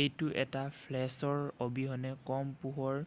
এইটো এটা ফ্লাছৰ অবিহনে কম পোহৰৰ